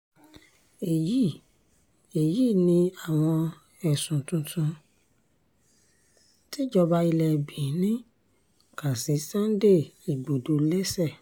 èyí èyí ni àwọn ẹ̀sùn tuntun tíjọba ilẹ̀ benin kà sí sunday igbodò lẹ́sẹ̀